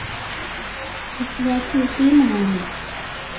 असल्याचे ते म्हणाले.